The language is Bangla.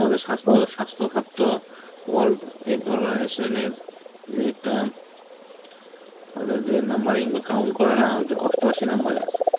যেমন আমাদের স্বাস্থ্য খাত তো Wডাক্তারorld এইতো organitation এর যে একটা তাদের যে numbering বা count করে না ওইটা অষ্টআশি নাম্বারে আছে.